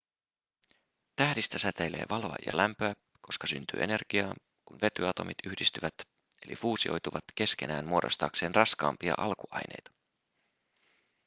tähdistä säteilee valoa ja lämpöä koska syntyy energiaa kun vetyatomit yhdistyvät eli fuusioituvat keskenään muodostaakseen raskaampia alkuaineita